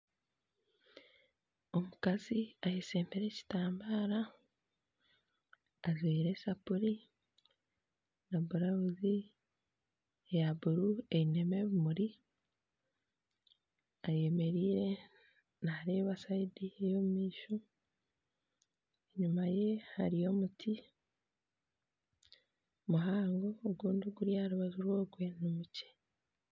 Omukazi ayeshembire ekitambara ajwaire esapuri na blauzi ya buruu einemu ebimuri ayemerire nareeba sayidi ey'omu maisho enyuma ye hariyo omuti muhango ogundi oguri aharubaju rw'ogwe ni mukye.